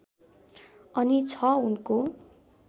अनि छ उनको